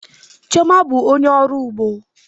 Chioma bụ onye ọrụ ugbo